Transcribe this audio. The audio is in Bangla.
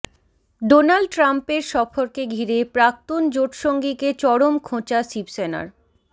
ডোনাল্ড ট্রাম্পের সফরকে ঘিরে প্রাক্তন জোটসঙ্গীকে চরম খোঁচা শিবসেনার